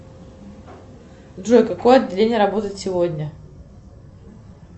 джой какое отделение работает сегодня